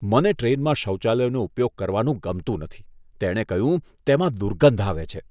મને ટ્રેનમાં શૌચાલયનો ઉપયોગ કરવાનું ગમતું નથી, તેણે કહ્યું, "તેમાં દુર્ગંધ આવે છે"